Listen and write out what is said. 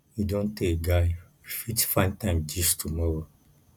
e don tey guy we fit find time gist tomorrow